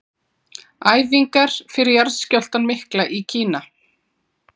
Æfingar fyrir jarðskjálftann mikla í Kína.